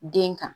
Den kan